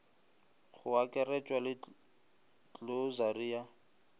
go akaretšwa le klosari ya